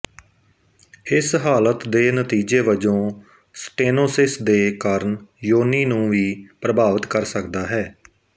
ਇਸ ਹਾਲਤ ਦੇ ਨਤੀਜੇ ਵਜੋਂ ਸਟੇਨੋਸਿਸ ਦੇ ਕਾਰਨ ਯੋਨੀ ਨੂੰ ਵੀ ਪ੍ਰਭਾਵਿਤ ਕਰ ਸਕਦਾ ਹੈ